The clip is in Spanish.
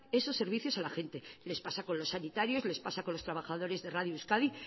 esos servicios a la gente les pasa con los sanitarios les pasa con los trabajadores de radio euskadi